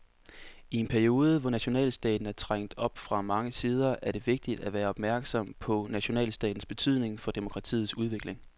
I en periode, hvor nationalstaten er trængt fra mange sider, er det vigtigt at være opmærksom på nationalstatens betydning for demokratiets udvikling.